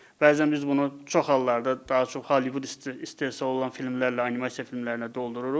Bəzən biz bunu çox hallarda daha çox Hollywood istehsalı olan filmlərlə, animasiya filmlərinə doldururuq.